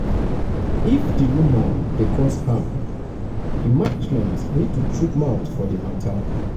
if di rumour dey um cause harm di management need to chook mouth for di um matter